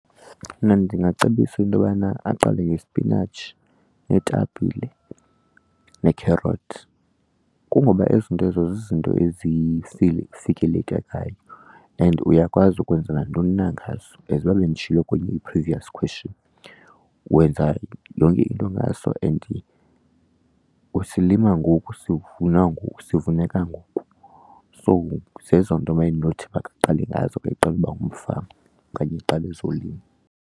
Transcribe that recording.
Mna ndingacebisa intobana aqale ngesipinatshi neetapile nee-carrots. Kungoba ezi zinto ezo zizinto fikelekekayo and uyakwazi ukwenza nantoni na ngazo, as uba benditshilo kwenye i-previous question. Wenza yonke into ngaso and usilima ngoku usivuna sivuneka ngoku, so zezo nto mna endinothi makaqale ngazo xa eqala uba ngumfama okanye eqala ezolimo.